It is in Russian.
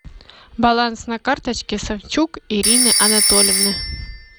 баланс на карточке савчук ирины анатольевны